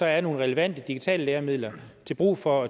er nogle relevante digitale læremidler til brug for